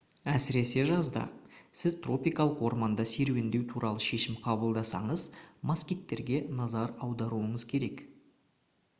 әсіресе жазда сіз тропикалық орманда серуендеу туралы шешім қабылдасаңыз москиттерге назар аударуыңыз керек